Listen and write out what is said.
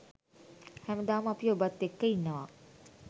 හැමදාම අපි ඔබත් එක්ක ඉන්නවා.